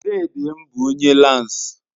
Dedem bu onye lansi